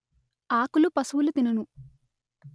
ఆకులు పశువులు తినును